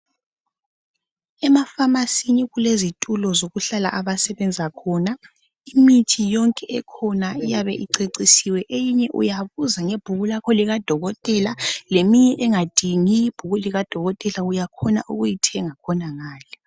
Emafamasini kulezithulo zokuhlala abasebenza khona. Imithi yonke ekhona iyabe icecisiwe eyinye uyabuza ngebhuku lakho likadokotela, leminye engadingi ibhuku likadokotela uyakwanisa ukuyithenga ngakhona ngale.